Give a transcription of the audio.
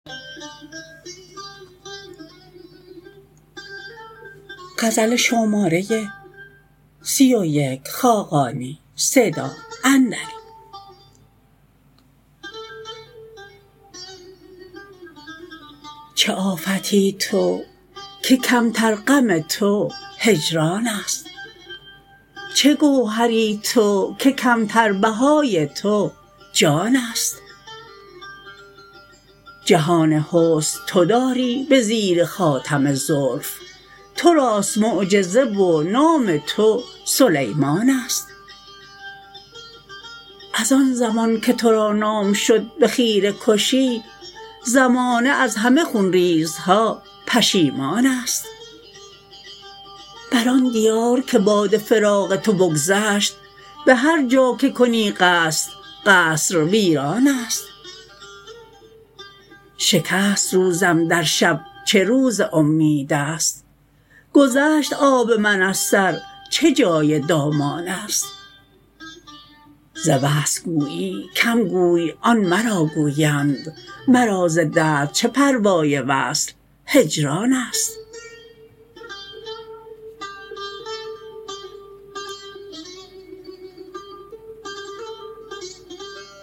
چه آفتی تو که کمتر غم تو هجران است چه گوهری تو که کمتر بهای تو جان است جهان حسن تو داری به زیر خاتم زلف تو راست معجزه و نام تو سلیمان است از آن زمان که تو را نام شد به خیره کشی زمانه از همه خونریزها پشیمان است بر آن دیار که باد فراق تو بگذشت به هر کجا که کنی قصد قصر ویران است شکست روزم در شب چه روز امید است گذشت آب من از سر چه جای دامان است ز وصل گویی کم گوی آن مرا گویند مرا ز درد چه پروای وصل و هجران است